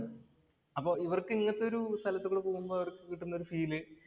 അപ്പോൾ ഇവർക്ക് ഇങ്ങനത്തെ ഒരു സ്ഥലത്തൂടെ പോകുമ്പോൾ ഇവര്‍ക്ക് കിട്ടുന്ന ഫീല്‍